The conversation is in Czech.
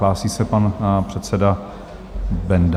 Hlásí se pan předseda Benda.